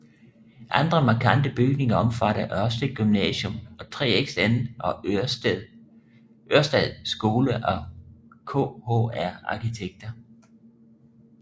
Andre markante bygninger omfatter Ørestad Gymnasium af 3XN og Ørestad Skole af KHR arkitekter